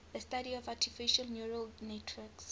the study of artificial neural networks